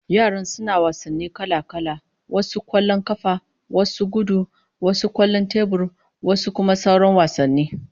Yaran suna wasanni kala-kala, wasu kwallon kafa, wasu gudu, wasu kwallon tebur, wasu kuma sauran wasanni